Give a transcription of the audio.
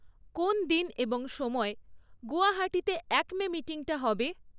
কোন দিন এবং সময়ে গুয়াহাটিতে আক্মে মিটিংটা হবে?